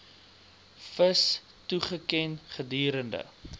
vis toegeken gedurende